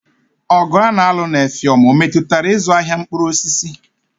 Ọgụ a na-alụ na Effium ọ metụtara ịzụ ahịa mkpụrụ osisi?